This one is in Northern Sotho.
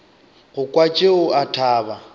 go kwa tšeo a thaba